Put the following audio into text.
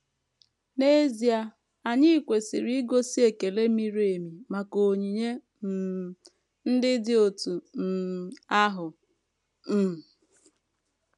N’ezie, anyị kwesịrị igosi ekele miri emi maka onyinye um ndị dị otú um ahụ. um